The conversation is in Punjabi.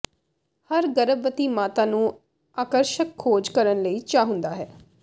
ਹਰ ਗਰਭਵਤੀ ਮਾਤਾ ਨੂੰ ਆਕਰਸ਼ਕ ਖੋਜ ਕਰਨ ਲਈ ਚਾਹੁੰਦਾ ਹੈ